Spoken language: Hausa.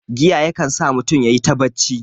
Giya ya kan sa mutun yayi ta bacci